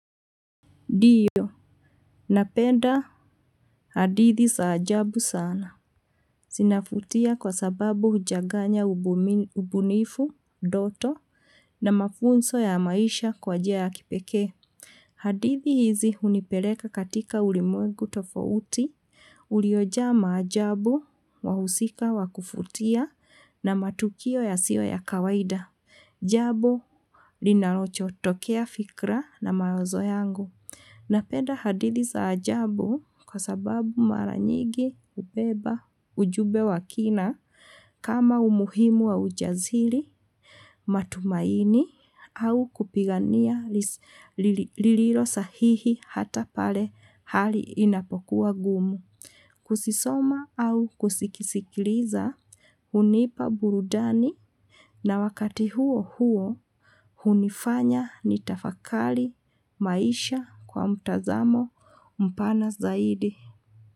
Diyo, napenda hadithi saajabu sana. Sinafutia kwa sababu hujaganya ubunifu, doto, na mafunso ya maisha kwa jaya kipeke. Hadithi izi hunipeleka katika ulimwegu tofouti, uliyoja ama hajabu wahu sika wa kufutia na matukio ya siwa ya kawaida. Jabo linalochoto kea fikra na mazo yangu. Napenda hadiliza hajabu kwa sababu malanyigi, upeba, ujube wakina, kama umuhimua wujazhili, matumaini, au kupigania liiliro sahihi hatapale hali inapokua gumu. Kusisoma au kusikisikiliza hunipa burudani na wakati huo huo hunifanya nitafakali maisha kwa mutazamo mpana zaidi.